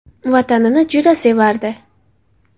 Vatanini juda sevardi.